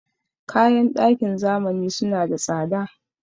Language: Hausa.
Kayan ɗakin zamani suna da tsada.